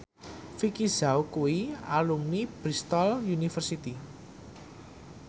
Vicki Zao kuwi alumni Bristol university